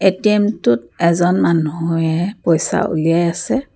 ATM টোত এজন মানুহে পইচা উলিয়াই আছে।